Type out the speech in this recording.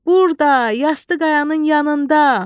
Burda, yastı qayanın yanında.